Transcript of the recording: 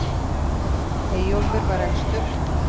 eyjólfur var elstur